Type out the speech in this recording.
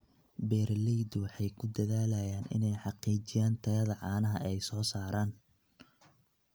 Beeraleydu waxay ku dadaalaan inay xaqiijiyaan tayada caanaha ay soo saaraan.